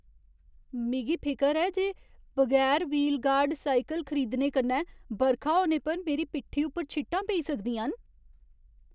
मिगी फिकर ऐ जे बगैर व्हील गार्ड बिजन साइकल खरीदने कन्नै बरखा होने पर मेरी पिट्ठी उप्पर छिट्टां पेई सकदियां न।